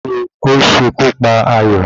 Kí ni ó ṣe kú pa Ayọ̀?